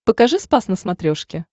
покажи спас на смотрешке